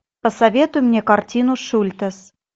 посоветуй мне картину шультес